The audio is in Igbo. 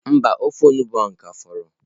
Mba, ofe onugbu ka fọrọ.